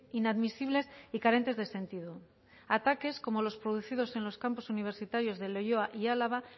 inadmisibles y carentes de sentido ataques como los producidos en los campus universitarios de leioa y álava